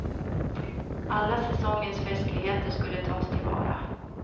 Alla säsongens festligheter skulle tas tillvara.